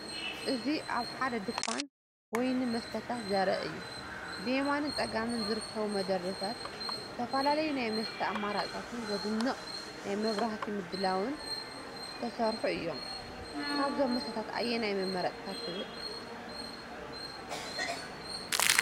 እዚ ኣብ ሓደ ድኳን ወይንን መስተታትን ዘርኢ እዩ። ብየማንን ጸጋምን ዝርከቡ መደርደሪታት ዝተፈላለዩ ናይ መስተ ኣማራጺታትን ዘደንቕ ናይ መብራህቲ ምድላውን ዝተሰርሑ እዮም። ካብዞም መስተታት ኣየናይ ምመረጽካ ትብል?